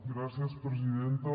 gràcies presidenta